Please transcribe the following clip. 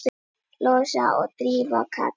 Lovísa og Drífa Katrín.